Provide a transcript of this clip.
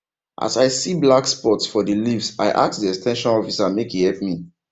as i see black spots for the leaves i ask the ex ten sion officer make e help me